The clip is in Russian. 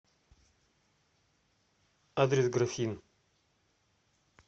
адрес графин